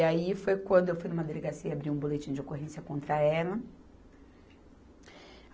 E aí foi quando eu fui numa delegacia abrir um boletim de ocorrência contra ela.